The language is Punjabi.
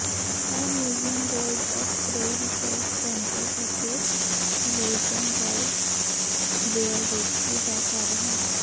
ਇਹ museum bird of prey research centre ਅਤੇ ਵੈਇੰਟਰਰਾਉਬ ਵੇਅਰਵੇਟਰੀ ਦਾ ਘਰ ਹੈ